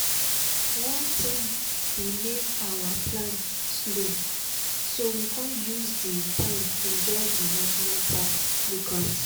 one tin be make our plan slow so we come use di time enjoy di national park lookout.